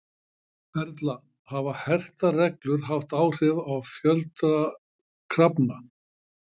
Erla, hafa hertar reglur haft áhrif á fjölda kafara?